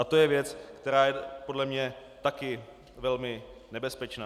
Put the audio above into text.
A to je věc, která je podle mne taky velmi nebezpečná.